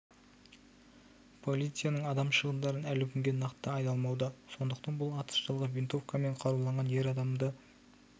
полицияның адам шығындарын әлі күнге нақты айталмауда сондықтан бұл атыс жылғы винтовкамен қаруланған ер адам адамды